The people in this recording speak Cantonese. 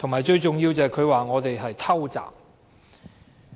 最重要的是，她說我們"偷襲"。